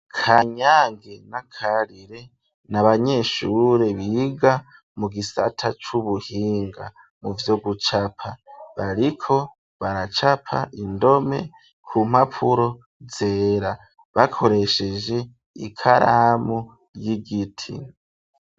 Kanyange na Karire n'abanyeshure biga mu gisata c'ubuhinga muvyo gucapa bariko baracapa indome ku mpapuro zera bakoresheje ikaramu y'igiti.